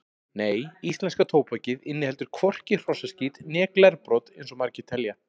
Nei, íslenska tóbakið inniheldur hvorki hrossaskít né glerbrot eins og margir telja.